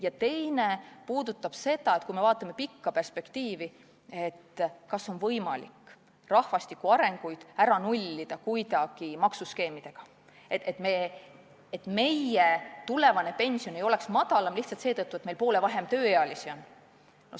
Ja teine puudutab seda, et kui me vaatame pikka perspektiivi, siis kas on võimalik rahvastiku arenguid kuidagi maksuskeemidega ära nullida, et tulevane pension ei oleks madalam lihtsalt seetõttu, et meil on poole vähem tööealisi.